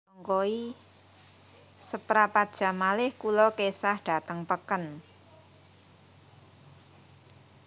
Seprapat jam malih kulo kesah dateng peken